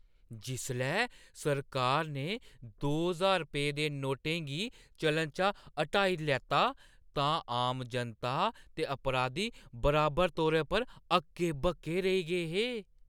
जिसलै सरकार ने दो ज्हार रपेंऽ दे नोटें गी चलन चा हटाई लैता तां आम जनता ते अपराधी बराबर तौरा पर हक्के-बक्के रेही गे हे।